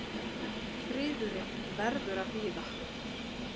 Friðurinn verður að bíða.